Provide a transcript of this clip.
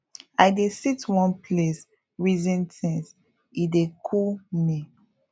i dey sit one place reason things e dey cool me